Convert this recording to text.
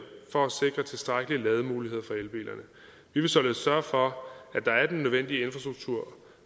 for at sikre tilstrækkelige lademuligheder for elbilerne vi vil således sørge for at der er den nødvendige infrastruktur